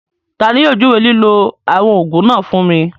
Tani yóò júwé lílọ̀ awọn oogun náà fún mi?